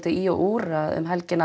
í og úr um helgina